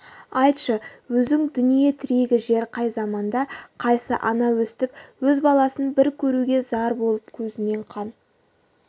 айтшы өзің дүние тірегі жер қай заманда қайсы ана өстіп өз баласын бір көруге зар болып көзінен қан